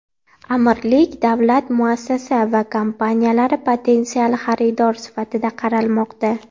Amirlik davlat muassasa va kompaniyalari potensial xaridor sifatida qaralmoqda.